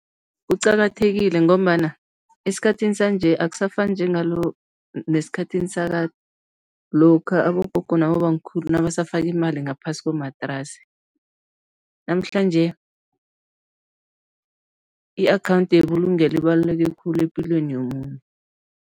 Kuqakathekile ngombana esikhathini sanje akusafani nesikhathini sakade, lokha abogogo nabobamkhulu nabasafaka imali ngaphasi komatrasi, namhlanje i-akhawundi yebulungelo ibaluleke khulu epilweni yomuntu.